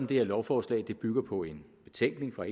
det her lovforslag bygger på en betænkning fra